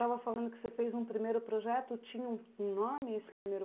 estava falando que você fez um primeiro projeto, tinha um um nome esse primeiro